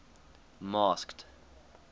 masked